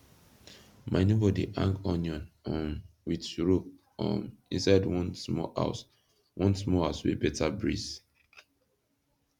my neighbor dey hang onion um with rope um inside one small house one small house wey beta breeze